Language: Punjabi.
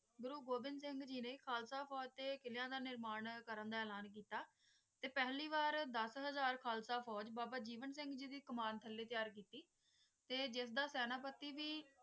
ਗੁਰੂ ਗੋਬਿੰ ਸਿੰਘ ਜੀ ਨੇ ਖਾਲਸਾ ਫੋਜ ਤੇ ਕਿੱਲਾਂ ਦਾ ਨਿਰਮਾਣ ਕਰਨ ਦਾ ਐਲਾਨ ਕਿੱਤਾ ਤੇ ਪਹਿਲੀ ਵਾਰ ਦਾਸ ਹਾਜ਼ਰ ਖਾਲਸਾ ਫੋਜ ਬਾਬਾ ਜੀਵਨ ਸਿੰਘ ਦੀ ਕਮਾਨ ਥੱਲੇ ਤਿਆਰ ਕਿੱਤੀ ਤੇ ਜਿਸ ਦਾ ਸੈਨਾ ਪੱਟੀ ਵੀ